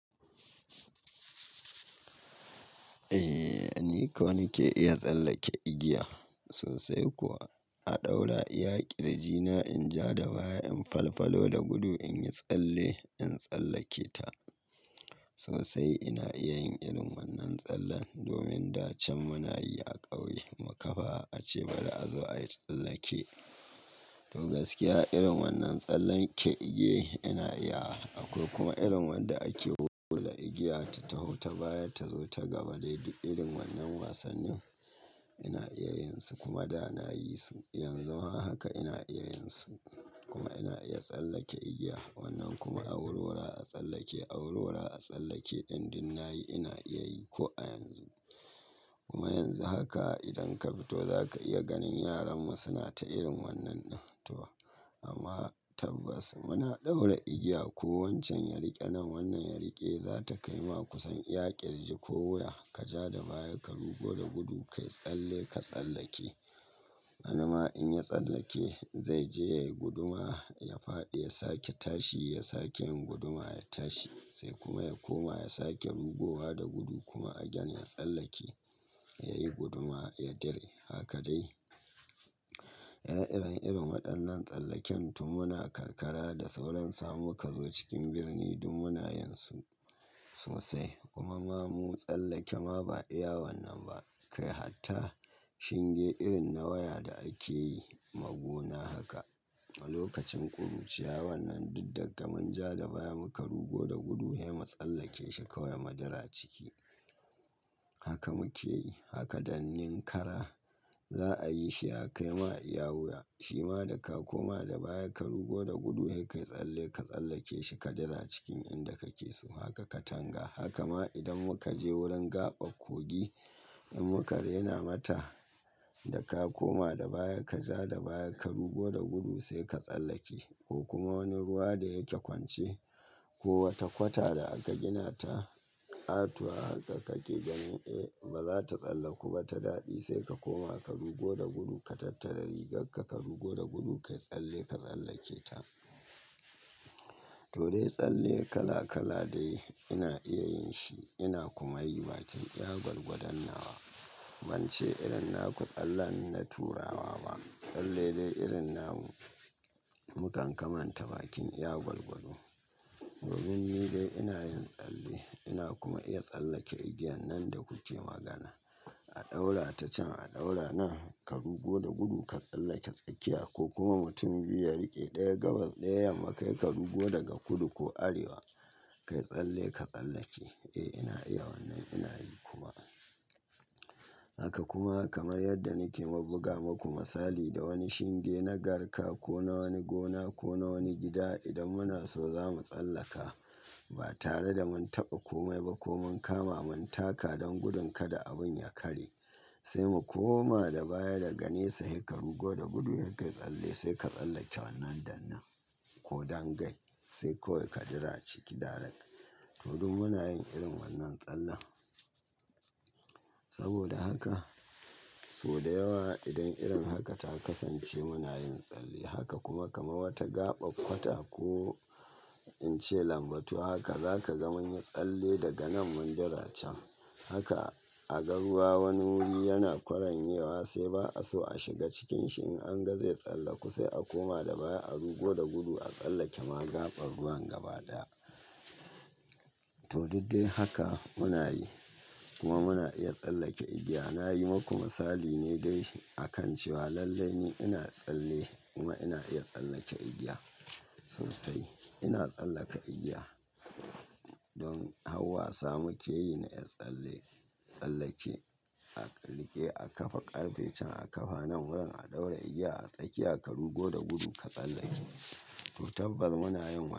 Eh, ni ko nike iya tsallake igiya sosai kuwa. A ɗaura iyaƙi r jina in ja da baya in falfalo da gudu in yi tsalle in tsallake ta. Sosai ina iya yin irin wannan tsallen domin da can muna yi a ƙauye mu kafa ace bari a zo ayi tsallake. To gaskiya irin wannan tsallen ke igiye ina iya. Akwai kuma irin wanda ake hula igiya ta taho ta baya ta zo ta gaba dai duk irin wannan wasannin ina iya yin su kuma da na yi su. Yanzu haka ina iya yin su kuma ina iya tsallake igiya wannan kuma awurwura a tsallake awurwura a tsallake din duk nayi ina iya yi ko a yanzu. Kuma yanzu haka idan ka fito za ka iya ganin yaran mu suna ta irin wannan ɗin to amma tabbas muna ɗaura igiya ko wancan ya riƙe nan wannan ya riƙe za ta kai ma kusan iyaƙir ji ko wuya. Ka ja da baya ka rugo da gudu kayi tsalle ka tsallake. Wanima in ya tsallake zai je ya yi guduma ya faɗi ya sake tashi ya sake yin guduma ya tashi sai kuma ya koma ya sake rugowa da gudu kuma a gani ya tsallake ya yi guduma ya dire haka dai. Yana irin-irin waɗannan tsallaken tun muna karkara da sauran samu ka zo cikin birni duk muna yin su sosai. Kuma ma mu tsallake ma ba iya wannan ba. Kai hatta shinge irin na waya da ake yi ma gona haka a lokacin kuruciya wannan duk daga mun ja da baya muka rugo da gudu he mu tsallake shi kawai mu dira ciki. Haka muke yi haka danninkara za a yi shi a kai ma iya wuya. Shi ma da ka koma da baya ka rugo da gudu he kai tsalle ka tsallake shi ka dira cikin inda kake so haka ka tanga. Haka ma idan muka je wurin gaɓar ƙogi in muka raina mata da ka koma da baya ka ja da baya ka rugo da gudu sai ka tsallake. Ko kuma wani ruwa da yake kwance ko wata kwata da aka gina ta ƙatuwa haka kake ganin eh ba za ta tsallaku ba ta daɗi sai ka koma ka rugo da gudu ka tattara rigarka ka rugo da gudu kayi tsalle ka tsallake ta. To dai tsalle kala kala dai ina iya yin shi ina kuma yi bakin iya gwargwadonnawa. Ban ce irin naku tsalle na turawa ba. Tsalle dai irin namu mukan kamanta bakin iya gwargwado. Dominni dai ina yin tsalle ina kuma iya tsallake igiyan nan da kuke magana. A ɗaura ta can a ɗaura nan ka rugo da gudu ka tsallake tsakiya ko kuma mutum biyu ya riƙe ɗaya gabas ɗaya yammakai ka rugo daga kudu ko arewa kai tsalle ka tsallake. Eh ina iya wannan ina yi kuma. Haka kuma kamar yadda nake ma buga muku misali da wani shinge na garka ko na wani gona ko na wani gida idan muna so za mu tsallaka ba tare da mun taɓa komai ba ko mun kama mun taka don gudun kada abun ya karye sai mu koma da baya da ganesa he ka rugo da gudu he kai tsalle sai ka tsallake wannan dannan ko dangai sai kawai ka jira ciki darak. To duk muna yin irin wannan tsallen. Saboda haka sau da yawa idan irin haka ta kasance muna yin tsalle. Haka kuma kamar wata gaɓar kwata ko in ce lambatu haka za ka ga mun yi tsalle daga nan mun jira can. Haka a ga ruwa wani wuri yana koren yewa sai ba a so a shiga cikin shi in an ga zai tsallaku sai a koma da baya a rugo da gudu a tsallake ma gaɓar ruwan gaba daya. To duk dai haka muna yi kuma muna iya tsallake igiya. Na yi muku misali ne dai akan cewa lallai ni ina tsalle kuma ina iya tsallake igiya sosai. Ina tsallaka igiya don harwa samu keyi na iya tsalle tsallake aƙallike a kafa ƙarfe can a kafa nan wurin a ɗaura igiya a tsakiya ka rugo da gudu ka tsallake. To tabbas muna yin.